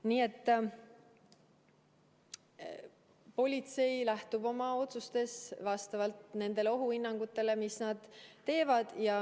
Nii et politsei lähtub oma otsustes ohuhinnangutest, mis nad teevad.